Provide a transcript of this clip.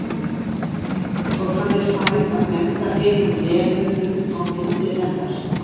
Og hann er farinn að benda hinum nemunum á myndir hennar.